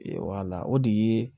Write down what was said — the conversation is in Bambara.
o de ye